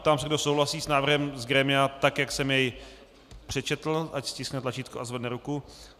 Ptám se, kdo souhlasí s návrhem z grémia, tak jak jsem jej přečetl, ať stiskne tlačítko a zvedne ruku.